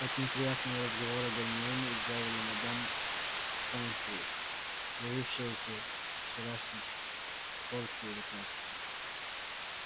от неприятного разговора гермиону избавила мадам помфри явившаяся с вчерашней порцией лекарств